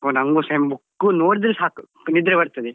ಹೋ ನನ್ಗು same book ಉ ನೋಡಿದ್ರೆ ಸಾಕು ನಿದ್ರೆ ಬರ್ತದೆ.